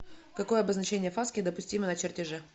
какое обозначение фаски допустимо на чертеже